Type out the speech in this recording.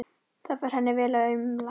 Það fer henni vel að umla.